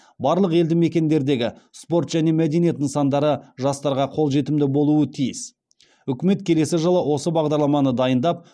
барлық елді мекендердегі спорт және мәдениет нысандары жастарға қолжетімді болуы тиіс үкімет келесі жылы осы бағдарламаны дайындап